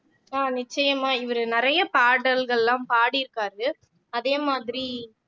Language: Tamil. ஆஹ் நிச்சயமா இவரு நிறைய பாடல்கள்லாம் பாடியிருக்காரு அதே மாதிரி